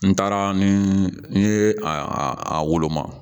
N taara ni n ye a woloma